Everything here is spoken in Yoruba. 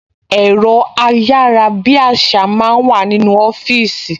Ẹ̀rọ ayárabíàṣá máa ń wà nínú ọfíìsì